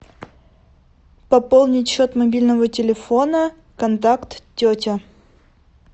пополнить счет мобильного телефона контакт тетя